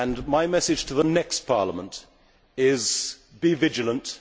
My message to the next Parliament is, Be vigilant